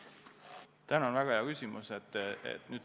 Tänan, väga hea küsimus!